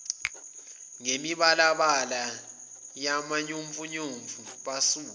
ngemibalabala yamanyufomu basuka